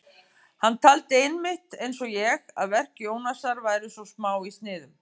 Hann taldi einmitt, eins og ég, að verk Jónasar væru svo smá í sniðum.